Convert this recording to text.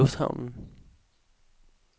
lufthavnen